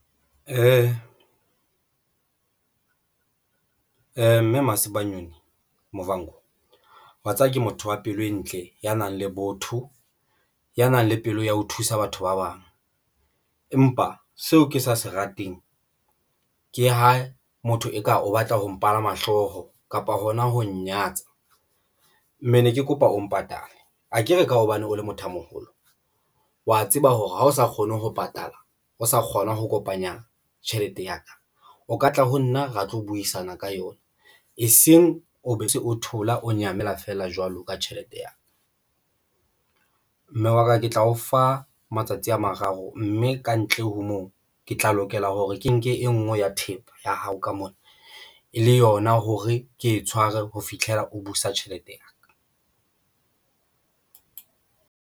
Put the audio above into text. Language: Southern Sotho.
Mme Masibanyoni Muvhango watseba ke motho wa pelo e ntle, ya nang le botho, ya nang le pelo ya ho thusa batho ba bang. Empa seo ke sa se rateng ke ha motho eka o batla ho palama hlooho kapa hona ho nyatsa mme ne ke kopa o mpatale akere ka hobane o le motho a moholo, wa tseba hore ha o sa kgone ho patala, o sa kgona ho kopanya tjhelete ya ka, o ka tla ho nna ra tlo buisana ka yona eseng o be o se o thola o nyamela feela jwalo ka tjhelete ya ka. Mme wa ka ke tla o fa matsatsi a mararo mme kantle ho moo ke tla lokela hore ke nke e ngwe ya thepa ya hao ka mona e le yona hore ke e tshware ho fitlhela o busa tjhelete ya ka.